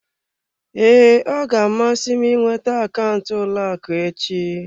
Ee, ọ ga-amasị m ịnweta akaụntụ ụlọ akụ echi.